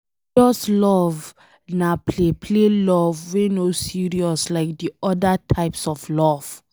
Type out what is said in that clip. Ludus love na play play love wey no serious like de oda types of love